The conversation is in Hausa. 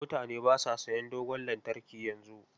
Mutane ba sa sayan dogon lantarki yanzu.